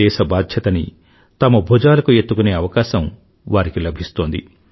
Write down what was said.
దేశ బాధ్యతని తమ భూజాలకు ఎత్తుకునే అవకాశం వారికి లభిస్తోంది